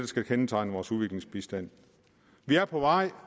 skal kendetegne vores udviklingsbistand vi er på vej